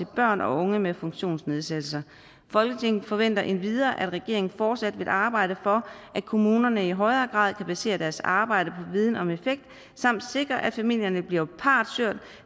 børn og unge med funktionsnedsættelser folketinget forventer endvidere at regeringen fortsat arbejder for at kommunerne i højere grad baserer deres arbejde viden om effekt samt sikrer at familierne bliver partshørt